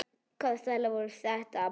Hvaða stælar voru þetta?